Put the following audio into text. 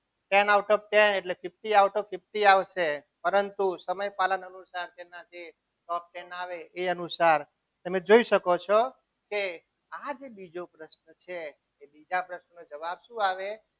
ten out of ten એટલે fifty out of fifty આવશે પરંતુ સમય પાલન અનુસાર જે top ten આવે તે અનુસાર તમે જોઈ શકો છો કે આ જ બીજો પ્રશ્ન છે એ બીજા પ્રશ્નનો જવાબ શું આવે?